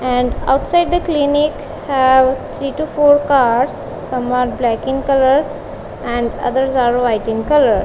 and outside the clinic have three to four cars some are black in colours and others are white in colour.